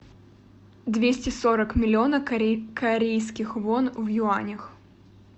двести сорок миллиона корейских вон в юанях